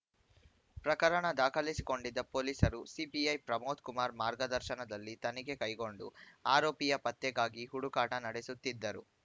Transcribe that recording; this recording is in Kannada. ಪ್ರಕರಣ ದಾಖಲಿಸಿಕೊಂಡಿದ್ದ ಪೊಲೀಸರು ಸಿಪಿಐ ಪ್ರಮೋದ್‌ ಕುಮಾರ್‌ ಮಾರ್ಗದರ್ಶನದಲ್ಲಿ ತನಿಖೆ ಕೈಗೊಂಡು ಆರೋಪಿಯ ಪತ್ತೆಗಾಗಿ ಹುಡುಕಾಟ ನಡೆಸುತ್ತಿದ್ದರು